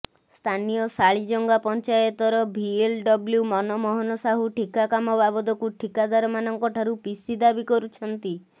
ସ୍ଥାନୀୟ ଶାଳିଜଙ୍ଗା ପଂଚାୟତର ଭିଏଲଡବ୍ଲ୍ୟୁ ମନମୋହନ ସାହୁ ଠିକା କାମ ବାବଦକୁ ଠିକାଦାରମାନଙ୍କ ଠାରୁ ପିସି ଦାବି କରୁଛନ୍ତି